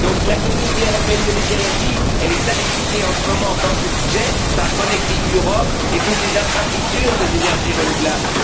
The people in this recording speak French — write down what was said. La Communauté européenne de l'énergie, elle est sacrifiée en ce moment dans ce budget par connecting Europe et toutes les infrastructures des énergies renouvelables.